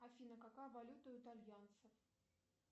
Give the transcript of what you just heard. афина какая валюта у итальянцев